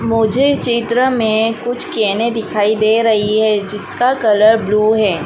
मुझे चित्र में कुछ कॅने दिखाई दे रही है जिसका कलर ब्लू है।